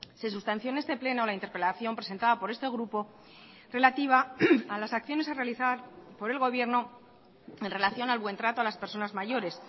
se sustanció en este pleno la interpelación presentada por este grupo relativa a las acciones a realizar por el gobierno en relación al buen trato a las personas mayores